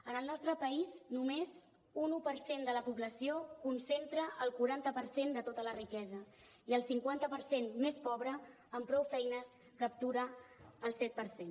en el nostre país només un un per cent de la població concentra el quaranta per cent de tota la riquesa i el cinquanta per cent més pobre amb prou feines captura el set per cent